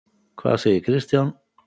Hvað segir Kristján?